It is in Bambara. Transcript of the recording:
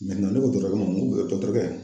ne ko dɔtɔrɔkɛ ma n ko dɔtɔrikɛ.